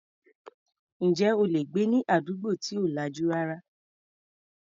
Ǹjẹ́ o lè gbé ní àdúgbò tí ò lajú rárá?